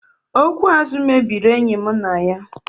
Okwu azụ mebiri enyi mụ na ya